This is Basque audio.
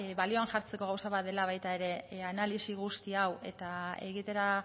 balioan jartzeko gauza bat dela baita ere analisi guzti hau eta egitera